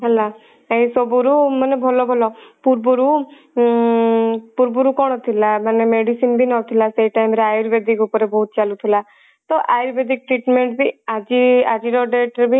ହେଲା ଏଇ ସବୁ ରୁ ମାନେ ଭଲ ଭଲ ପୂର୍ବରୁ ଉଁ ପୂର୍ବରୁ କଣ ଥିଲା ମାନେ medicine ବି ନଥିଲା ସେଇ time ରେ ayurvedic ଉପରେ ବହୁତ ଚାଲୁଥିଲା ତ ayurvedic treatment ବି ଆଜି ଆଜି ର date ରେ ବି